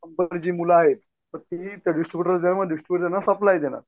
जी मुलं आहेत मग ती डिस्ट्रिब्युटरला देणार डिस्ट्रिब्युटर सप्लाय देणार.